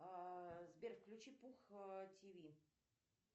сбер включи пух тв